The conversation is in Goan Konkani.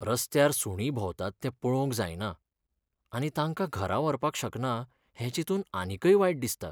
रस्त्यार सुणीं भोंवतात तें पळोवंक जायना, आनी तांकां घरा व्हरपाक शकना हें चिंतून आनीकय वायट दिसता.